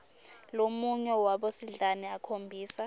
lomunye wabosidlani akhombisa